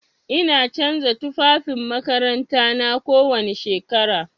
Ina canza tufafin makarantana kowani shekara.